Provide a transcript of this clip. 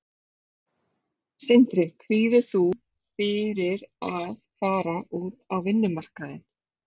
Sindri: Kvíðir þú fyrir að fara út á vinnumarkaðinn?